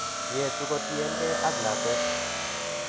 Yetu kotien gee ak lakwet